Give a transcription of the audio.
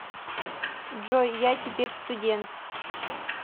джой я теперь студент